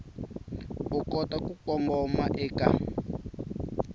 u kota ku kongoma eka